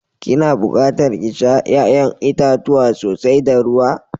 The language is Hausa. Ki na buƙatar ki sha ya'yan itacuwa sosai da ruwa.